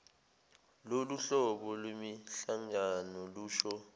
loluhlobo lwemihlangano lusho